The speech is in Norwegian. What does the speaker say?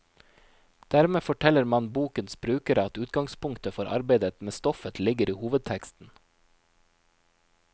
Dermed forteller man bokens brukere at utgangspunktet for arbeidet med stoffet ligger i hovedteksten.